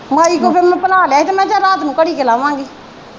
ਮਾਈ ਕੋ ਫਿਰ ਮੈ ਪਣਾ ਲਿਆ ਹੀ ਤੇ ਮੈ ਕਿਹਾ ਚਲ ਰਾਤ ਨੂੰ ਘੜੀ ਕਾ ਲਾਵਾਂਗੇ।